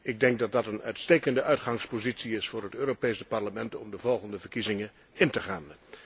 Ik denk dat dat een uitstekende uitgangspositie is voor het Europees Parlement om de volgende verkiezingen in te gaan.